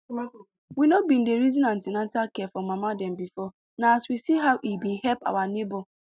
we no been dey reason an ten atal care for mama dem before na as we see how e been help our neighbor